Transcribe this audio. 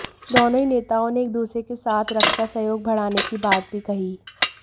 दोनों ही नेताओं ने एक दूसरे के साथ रक्षा सहयोग बढ़ाने की बात भी कही